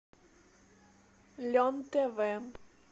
лен тв